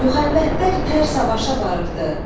Müxənnətlər tər savaşa varıbdır.